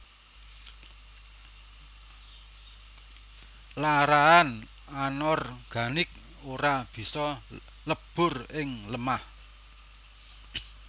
Larahan anorganik ora bisa lebur ing lemah